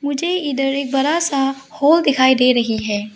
मुझे इधर एक बड़ा सा हॉल दिखाई दे रही है।